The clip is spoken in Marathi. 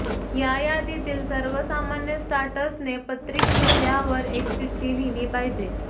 या यादीतील सर्वसामान्य स्टार्टर्सने पत्रिक विषयांवर एक चिठ्ठी लिहिली पाहिजे